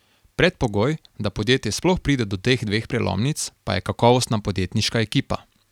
Predpogoj, da podjetje sploh pride do teh dveh prelomnic pa je kakovostna podjetniška ekipa.